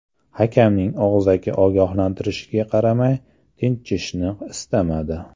Hakamning og‘zaki ogohlantirishiga qaramay tinchishni istamadi.